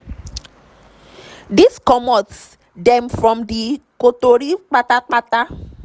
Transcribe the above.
dis comot dem from di kontri pata-pata.